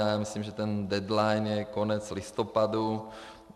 Já myslím, že ten deadline je konec listopadu.